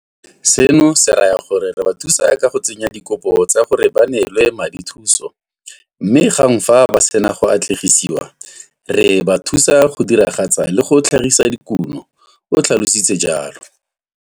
Seno se raya gore re ba thusa ka go tsenya dikopo tsa gore ba neelwe madithuso mme gang fa ba sena go atlene gisiwa, re ba thusa ka go diragatsa le go tlhagisa dikuno, o tlhalositse jalo.